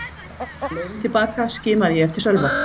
Á leiðinni til baka skimaði ég eftir Sölva.